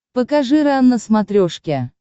покажи рен на смотрешке